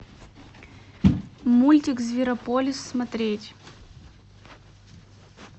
мультик зверополис смотреть